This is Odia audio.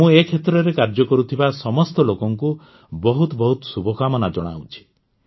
ମୁଁ ଏ କ୍ଷେତ୍ରରେ କାର୍ଯ୍ୟ କରୁଥିବା ସମସ୍ତ ଲୋକଙ୍କୁ ବହୁତ ବହୁତ ଶୁଭକାମନା ଜଣାଉଛି